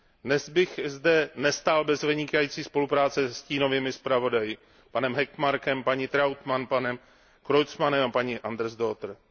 Dnes bych zde nestál bez vynikající spolupráce se stínovými zpravodaji, panem Hökmarkem, paní Trautmannovou, panem Creutzmannem a paní Andersdotterovou.